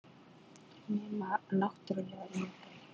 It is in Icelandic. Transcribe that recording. Nema náttúrlega yngri.